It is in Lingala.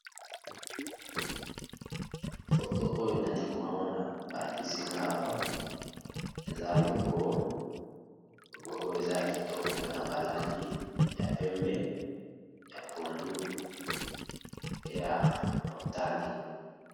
Photo oyo nazalikomona balakisinga Awa eza logo eza kitoko eza pe na ba langi pembe, pondu, motane.